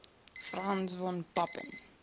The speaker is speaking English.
franz von papen